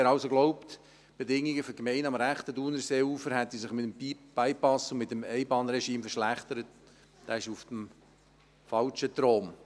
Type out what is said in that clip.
Wer also glaubt, die Bedingungen für die Gemeinden am rechten Thunerseeufer hätten sich mit dem Bypass und mit dem Einbahnregime verschlechtert, ist auf dem Holzweg.